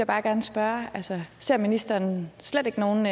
bare gerne spørge ser ministeren slet ikke nogen